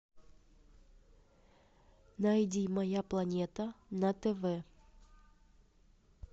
найди моя планета на тв